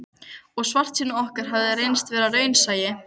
Og svartsýni okkar hafði reynst vera raunsæi.